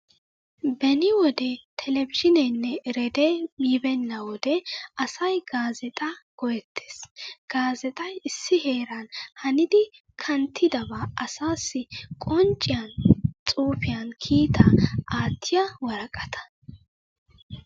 Beni wode televizhiineenne ereedee yibbeenna wode asay gaazeexaa go'ettes. Gaazeexay issi heeran hanidi kanttidabaa asaassi qoncciyan xuufiyan kiitaa aattiya woraqataa.